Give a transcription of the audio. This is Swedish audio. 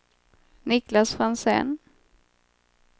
Niklas Franzén